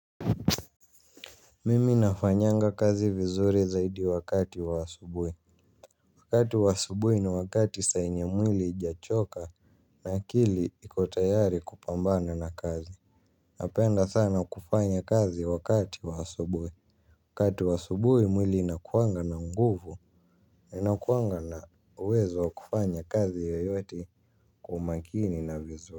Mimi nafanyanga kazi vizuri zaidi wakati wa asubuhi. Wakati wa asubuhi ni wakati saa yenye mwili haijachoka na akili iko tayari kupambana na kazi. Napenda sana kufanya kazi wakati waasubui. Wakati wa asubuhi mwili inakuanga na nguvu. Inakuanga na uwezo wa kufanya kazi yeyote kwa umakini na vizuri.